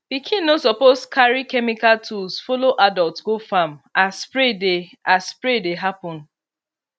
pikin no suppose carry chemical tools follow adult go farm as spray dey as spray dey happen